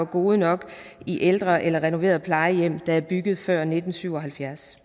gode nok i ældre eller renoverede plejehjem der er bygget før nitten syv og halvfjerds